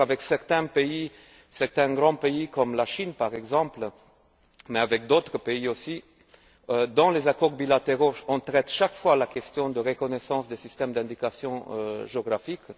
D'ailleurs, avec certains pays, certains grands pays comme la Chine par exemple, mais avec d'autres aussi, dans les accords bilatéraux, on traite chaque fois la question de la reconnaissance des systèmes d'indication géographique.